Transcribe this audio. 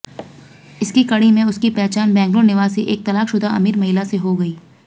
इसी कड़ी में उसकी पहचान बैंगलोर निवासी एक तलाकशुदा अमीर महिला से हो गयी